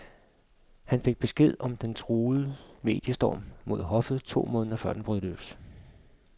Han fik besked om den truende mediestorm mod hoffet to måneder før den brød løs.